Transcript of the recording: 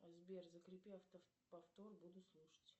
сбер закрепи авто повтор буду слушать